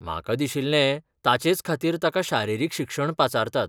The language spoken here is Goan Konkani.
म्हाका दिशिल्लें, ताचेचखातीर ताका शारिरीक शिक्षणपाचारतात.